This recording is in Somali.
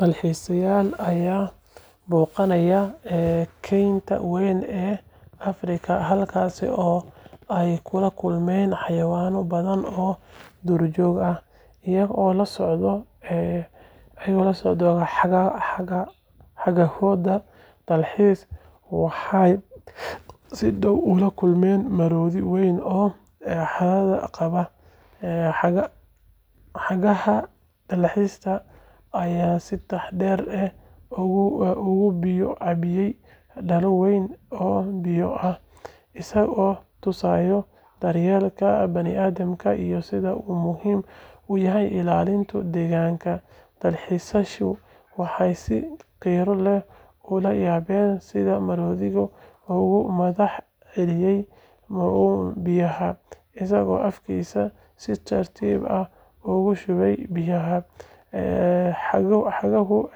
alxiisayaal ayaa booqanaya kaynta weyn ee Afrika halkaas oo ay kula kulmayaan xayawaanno badan oo duurjoog ah. Iyagoo la socda hagahooda dalxiiska, waxay si dhow ula kulmaan maroodi weyn oo harraad qaba. Hagaha dalxiiska ayaa si taxaddar leh uga biyo cabbiyay dhalo weyn oo biyo ah, isagoo tusaya daryeelka bani’aadamka iyo sida uu muhiim u yahay ilaalinta deegaanka. Dalxiisayaashu waxay si qiiro leh ula yaabeen sida maroodigu uga mahadceliyay biyaha, isagoo afkiisa si tartiib ah ugu shubaya biyaha. Haguhu